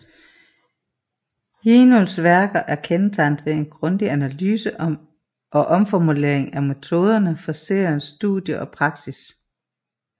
Jinuls værker er kendetegnede ved en grundig analyse og omformulering af metoderne for Seons studie og praksis